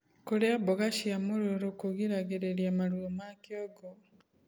Kurĩa mboga cia mũrũrũ kugiragirirĩa maruo ma kĩongo